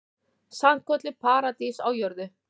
Sannkölluð paradís á jörðu.